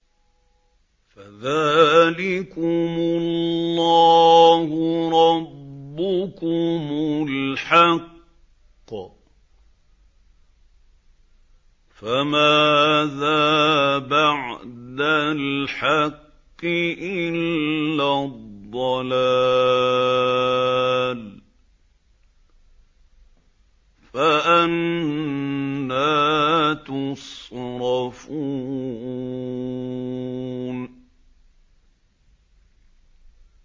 فَذَٰلِكُمُ اللَّهُ رَبُّكُمُ الْحَقُّ ۖ فَمَاذَا بَعْدَ الْحَقِّ إِلَّا الضَّلَالُ ۖ فَأَنَّىٰ تُصْرَفُونَ